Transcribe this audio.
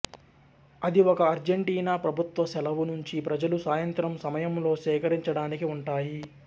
అది ఒక అర్జెంటీనా ప్రభుత్వ సెలవు నుంచి ప్రజలు సాయంత్రం సమయంలో సేకరించడానికి ఉంటాయి